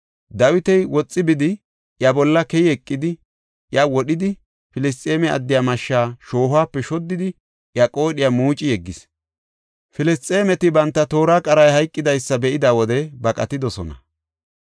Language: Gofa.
Dawiti woxi bidi, iya bolla keyi eqidi, iya wodhidi, Filisxeeme addiya mashshaa shoohuwape shoddidi, iya qoodhiya muuci yeggis. Filisxeemeti banta toora qaray hayqidaysa be7ida wode baqatidosona.